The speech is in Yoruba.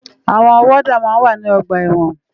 Awòn wòdá má n wá ni ògbà èwòn